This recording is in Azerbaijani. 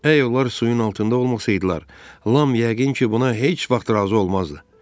Əgər onlar suyun altında olmasaydılar, Lam yəqin ki, buna heç vaxt razı olmazdı.